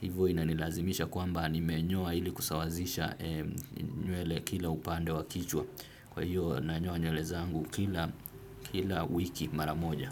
hivyo inanilazimisha kwamba nimenyoa ili kusawazisha nywele kila upande wa kichwa. Kwa hiyo nanyoa nywele zangu kila wiki maramoja.